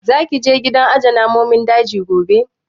Za ki je gidan aje namun daji gobe?